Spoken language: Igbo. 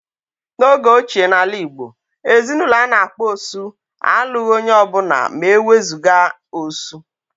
N'oge ochie n'ala Igbo, ezinaụlọ a na-akpọ "osu" alụghị onye ọbụla ma ewezuga "osu"